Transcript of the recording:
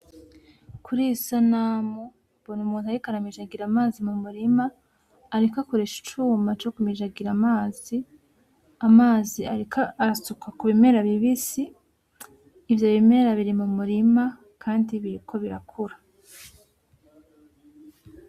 Kuriyi sanamu mbona umuntu ariko aramijagira amazi mumurima ariko akoresha icuma cokumujigira amazi ,Amazi ariko asuka kubimera bibisi ,Ivyo bimera biri mumurima kandi biriko birakura.